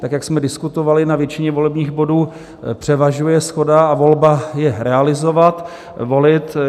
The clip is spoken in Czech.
Tak jak jsme diskutovali, na většině volebních bodů převažuje shoda a volba je realizovat, volit.